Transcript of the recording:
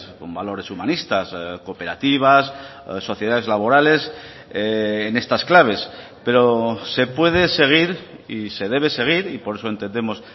con valores humanistas cooperativas sociedades laborales en estas claves pero se puede seguir y se debe seguir y por eso entendemos